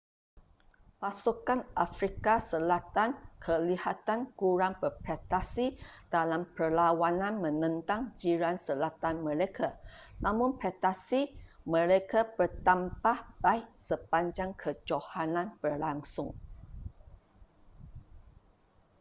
pasukan afrika selatan kelihatan kurang berprestasi dalam perlawanan menentang jiran selatan mereka namun prestasi mereka bertambah baik sepanjang kejohanan berlangsung